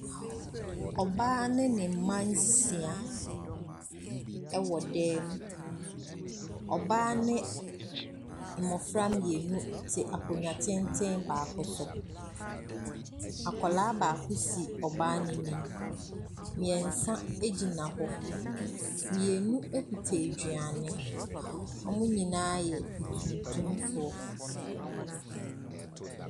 Ɔbaa ne ne mma nsia wɔ dan mu, ɔbaa ne mmɔfra mmienu te akonnwa tenten baako so. Akwadaa baako si ɔbaa n’anim na mmiɛnsa gyina hɔ, mmienu kita aduane. Wɔn nyina yɛ atuntumfoɔ.